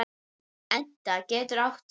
Etna getur átt við